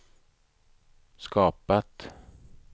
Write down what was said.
skapat